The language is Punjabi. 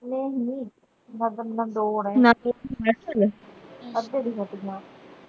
ਨਹੀਂ ਨਹੀਂ